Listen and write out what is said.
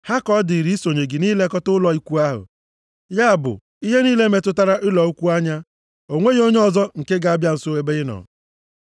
Ha ka ọ dịrị, isonye gị nʼilekọta ụlọ ikwu ahụ, ya bụ, ihe niile metụtara ụlọ ikwu anya. O nweghị onye ọzọ nke ga-abịa nso ebe ị nọ.